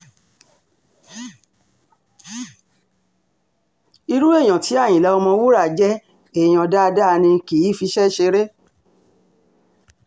irun èèyàn tí àyìnlá ọ̀mọ̀wúrà jẹ́ èèyàn dáadáa ni kì í fiṣẹ́ ṣeré